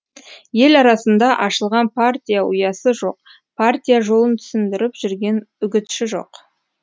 ел арасында ашылған партия ұясы жоқ партия жолын түсіндіріп жүрген үгітші жоқ